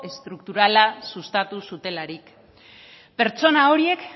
estrukturala sustatu zutelarik pertsona horiek